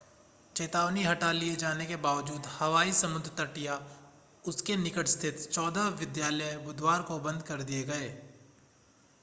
चेतावनी हटा लिए जाने के बावजूद हवाई समुद्र तट या उसके निकट स्थित चौदह विद्यालय बुधवार को बंद कर दिए गए